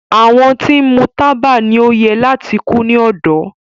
Awọn ti nmu taba ni o yẹ lati ku ni ọdọ